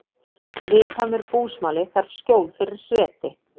Viðkvæmur búsmali þarf skjól fyrir hreti